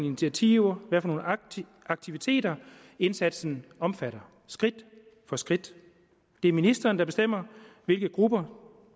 initiativer aktiviteter indsatsen omfatter skridt for skridt det er ministeren der bestemmer hvilke grupper